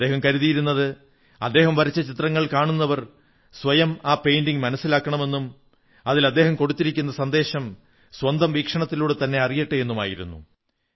അദ്ദേഹം കരുതിയിരുന്നത് അദ്ദേഹം വരച്ച ചിത്രങ്ങൾ കാണുന്നവർ സ്വയം ആ പെയിന്റിംഗ് മനസ്സിലാക്കണമെന്നും അതിൽ അദ്ദേഹം കൊടുത്തിരിക്കുന്ന സന്ദേശം സ്വന്തം വീക്ഷണത്തിലൂടെത്തന്നെ അറിയട്ടെ എന്നുമായിരുന്നു